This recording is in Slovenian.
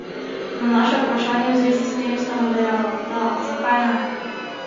Na naše vprašanje v zvezi s tem, sta nam dejala: 'Da, zakaj ne?